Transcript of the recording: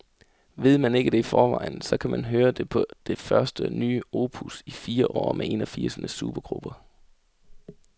Ved man ikke det i forvejen, så kan man høre det på det første nye opus i fire år med en af firsernes supergrupper.